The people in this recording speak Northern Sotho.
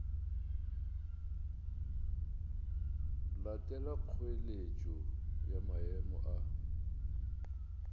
latela kgoeletšo ya maemo a